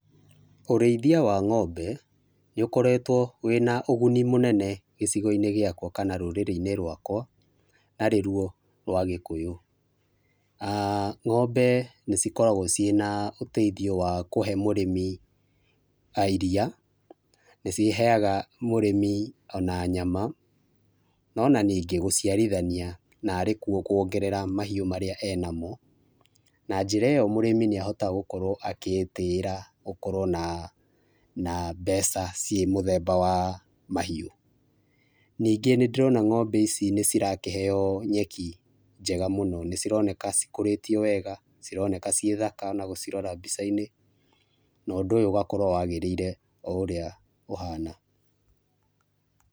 Ũrĩithia wa ng'ombe nĩ ũkoretwo wĩna ũguni mũnene gĩcigo-inĩ gĩakwa kana rũrĩrĩ-inĩ rwakwa na nĩ ruo rwa gĩkũyũ. Ah ng'ombe nĩ cikoragwo cirĩ na ũteithio wa kũhe mũrĩmi iria, nĩ ciheaga mũrĩmi ona nyama ona ningĩ gũchiarithania na rĩkuo kwongerera mahiũ marĩa ena mo, na njĩra ĩyo mũrĩmi nĩ ahotaga gũkorwo agĩtĩĩra gũkorwo na na mbeca, ciĩ mũthemba wa mahiũ, ningĩ nĩ ndĩrona ng'ombe ici nĩcirakĩheo nyeki, njega mũno nĩ cironeka cikũrĩtio wega, cironeka ciĩ thaka ona gũcirora mbica-inĩ na ũndũ ũyũ ũgagĩkorwo wagĩrĩire o ũrĩa ũhana.